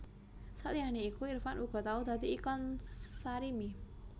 Saliyane iku Irfan uga tau dadi ikon Sarimi